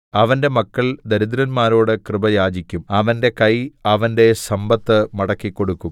അവന്റെ മക്കൾ ദരിദ്രന്മാരോട് കൃപ യാചിക്കും അവന്റെ കൈ അവന്റെ സമ്പത്ത് മടക്കിക്കൊടുക്കും